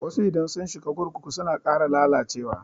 Wasu idan sun shiga kurkuku suna ƙara lalacewa.